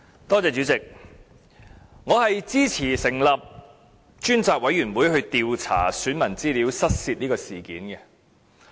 代理主席，我支持成立專責委員會，調查選民資料失竊事件。